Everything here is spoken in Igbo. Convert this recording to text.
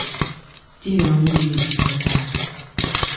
di na nwunye jikọtara